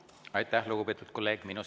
Aitäh, lugupeetud kolleeg!